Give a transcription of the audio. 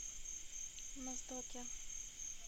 моздоке